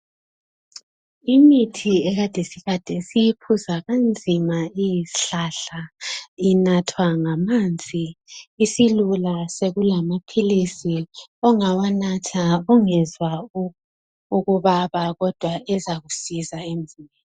Imithi ekade siyinatha kanzima iyizihlahla inathwa ngamanzi isilula sokulamaphilisi ongawanatha ungezwa ukubaba kodwa ezakusiza emzimbeni.